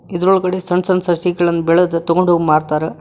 ಇದ್ರೊಳಗಡೆ ಸನ್ ಸನ್ ಸಸಿಗಳನ್ನ ಬೆಳೆದ ತಗೊಂಡ್ ಹೋಗ ಮಾರ್ತಾರ.